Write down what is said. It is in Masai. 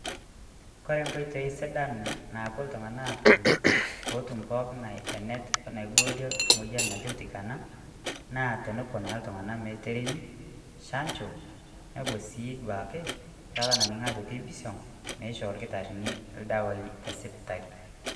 Kore nkotei sidaan napoo ltung'ana atum pootum pooki ng'ae enetii naaiboorie moyian natii ltikana, naa tonopoo naa ltung'ana meeteremi shaanjo nepoo sii duake nkaata naning'i ajo keibisong' meisho lkitarin ldewa te sipitali.